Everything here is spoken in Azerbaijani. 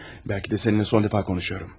Bəlkə də səninlə sonuncu dəfə danışıram.